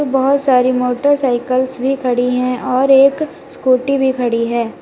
बहोत सारी मोटरसाइकलस भी खड़ी है और एक स्कूटी भी खड़ी है।